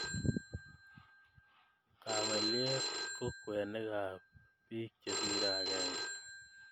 Kaweliaiet ko kwenet ap piik chesire akenge